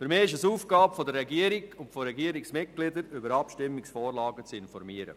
Für mich ist es Aufgabe der Regierung und der Regierungsmitglieder, über Abstimmungsvorlagen zu informieren.